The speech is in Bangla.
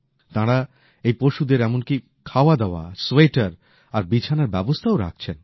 তাঁরা এই পশুদের খাওয়াদাওয়া এমনকি সোয়েটার আর বিছানার ব্যবস্থাও রাখছেন